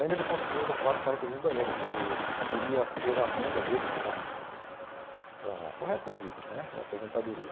Ainda ele construindo um quarto-sala-cozinha e banheiro, que viria a ser a renda deles para para para o resto da vida né, a aposentadoria.